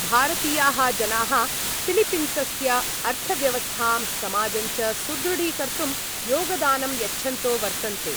भारतीयाः जनाः फिलीपीन्सस्य अर्थव्यवस्थां समाजञ्च सुदृढीकर्तुं योगदानं यच्छन्तो वर्तन्ते।